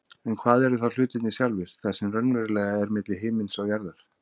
En hvað eru þá hlutirnir sjálfir, það sem raunverulega er milli himins og jarðar?